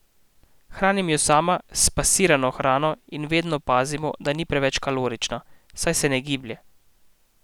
Hranim jo sama s spasirano hrano in vedno pazimo, da ni preveč kalorična, saj se ne giblje.